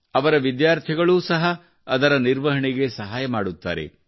ಅವರ ವಿದ್ಯಾರ್ಥಿಗಳು ಸಹ ಅವರ ನಿರ್ವಹಣೆಗೆ ಸಹಾಯ ಮಾಡುತ್ತಾರೆ